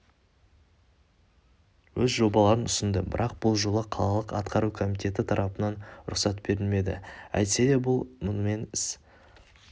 өз жобаларын ұсынды бірақ бұл жолы қалалық атқару комитеті тарапынан рұқсат берілмеді әйтсе де мұнымен іс